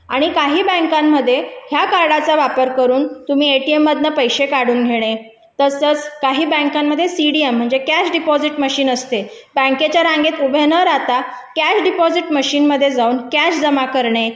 आणि काही बँकांमध्ये या कार्डचा वापर करून तुम्ही एटीएम मधून पैसे काढून घेणे तसेच काही बँकेमध्ये सीडीएम म्हणजे कॅश डिपॉझिट मशीन असते बँकेच्या रांगेत उभ्या न राहता डिपॉझिट मशीन मध्ये जाऊन त्याच जमा करणे